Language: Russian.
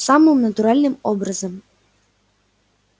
самым натуральным образом